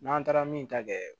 N'an taara min ta kɛ